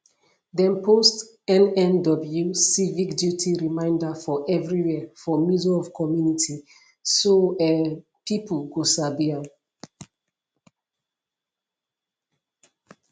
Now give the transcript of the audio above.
dem post nnw civic duty reminder for everywhere for middle of community so um pipu go sabi am